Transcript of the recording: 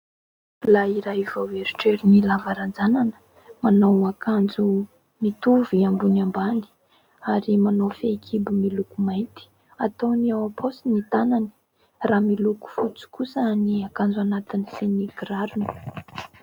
Lehilahy iray vao eritreriny lava ranjanana, manao akanjo mitovy ambony ambany ary manao fehikibo miloko mainty. Ataony am-paosy ny tanany raha miloko fotsy kosa ny akanjo anatiny sy ny kirarony.